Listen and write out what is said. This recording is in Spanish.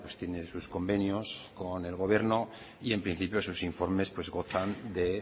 tiene sus convenios con el gobierno y en principio sus informes gozan de